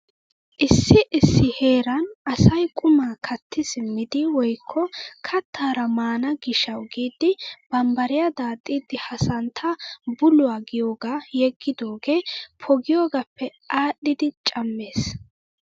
Issi issi heeran asay qumaa katti simmidi woykko kattaara maana giishshawu giidi bammbariyaa daaxxidi ha santta buluwaa giyoogaa yeggidoogee poogiyoogappe adhidi cammees!